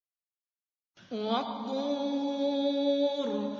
وَالطُّورِ